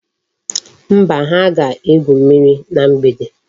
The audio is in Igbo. Mba, ha ga-egwu mmiri na mgbede.